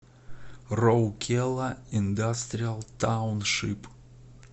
роукела индастриал тауншип